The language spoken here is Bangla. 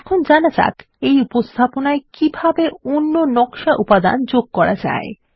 এখন জানা যাক এই উপস্থাপনায় কিভাবে অন্য নকশা উপাদান যোগ করা যায়